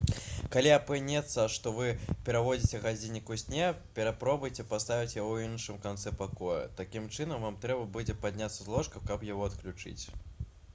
калі апынецца што вы пераводзіце гадзіннік у сне паспрабуйце паставіць яго ў іншым канцы пакоя такім чынам вам трэба будзе падняцца з ложка каб яго адключыць